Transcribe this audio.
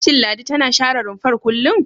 Shin Ladi tana share rumfar kullum?